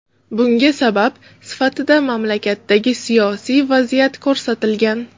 Bunga sabab sifatida mamlakatdagi siyosiy vaziyat ko‘rsatilgan.